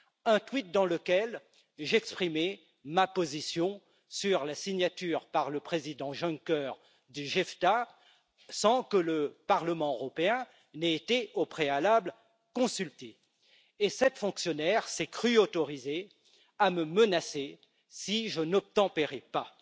Un tweet dans lequel j'exprimais ma position sur la signature par le président Juncker du JEFTA sans que le Parlement européen n'ait été au préalable consulté. Cette fonctionnaire s'est crue autorisée à me menacer si je n'obtempérais pas.